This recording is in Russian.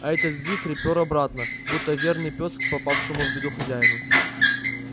а этот вихрь пер обратно будто верный пёс к попавшему в беду хозяину